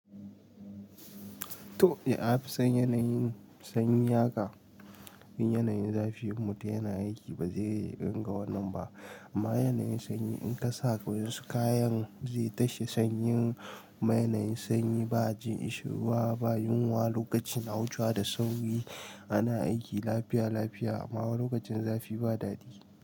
To, yafi son yanayin sanyi yaƙa. Yin yanayin zafin mutu yana aiki bazai ringa wannan ba. Amma yanayin sanyi in kasa wasu kayan zai tashe sanyin. Amma yanayin sanyi ba ji isirwa ba yunwa lokacin wuchewa da sauri ana aiki lafiya--lafiya amma lokacin zafi ba dadi.